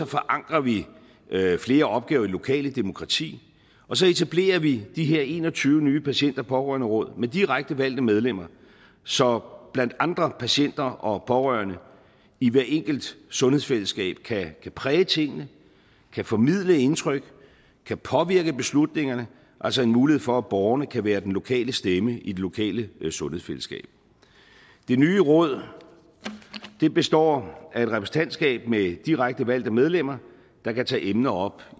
forankrer vi flere opgaver i det lokale demokrati og så etablerer vi de her en og tyve nye patient og pårørenderåd med direkte valgte medlemmer så blandt andre patienter og pårørende i hvert enkelt sundhedsfællesskab kan præge tingene kan formidle indtryk kan påvirke beslutningerne altså en mulighed for at borgerne kan være den lokale stemme i det lokale sundhedsfællesskab det nye råd består af et repræsentantskab med direkte valgte medlemmer der kan tage emner op